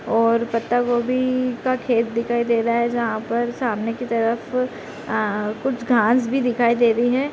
और पत्ता गोभी का खेत दिखाई दे रहा है जहाँ पर सामने की तरफ आ कुछ घास भी दिखाई दे रही है।